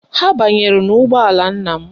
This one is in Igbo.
Ha banyere n'ụgbọala nna m